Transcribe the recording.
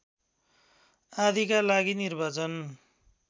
आदिका लागि निर्वाचन